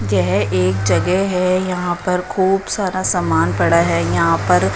यह एक जगह है यहां पर खूब सारा सामान पड़ा है यहां पर--